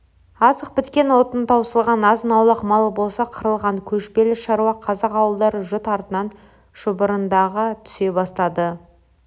азық біткен отын таусылған азын-аулақ малы болса қырылған көшпелі шаруа қазақ ауылдары жұт артынан шұбырындыға түсе бастады